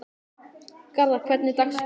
Garðar, hvernig er dagskráin?